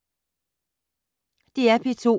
DR P2